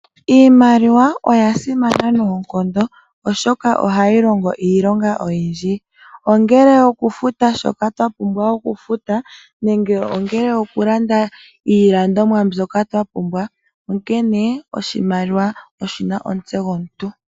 Iimaliwa oya simana noonkondo oshoka ohayi longo iilonga oyindji. Ongele oku futa shoka twa pumbwa oku futa nenge ongele oku landa iilandomwa mbyoka twa pumbwa, onkene oshimaliwa oshina omutse gomuntu.